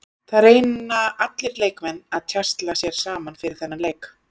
Það reyna allir leikmenn að tjasla sér saman fyrir þennan leik.